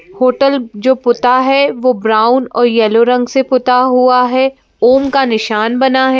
Hotel जो पुता हैवह ब्राउन और येलो रंग से पुता हुआ है ओम का निशान बना है।